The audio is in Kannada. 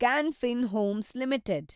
ಕಾನ್ ಫಿನ್ ಹೋಮ್ಸ್ ಲಿಮಿಟೆಡ್